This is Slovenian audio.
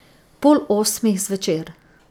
Pol osmih zvečer.